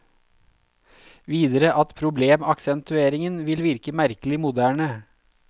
Videre at problemaksentueringen vil virke merkelig moderne.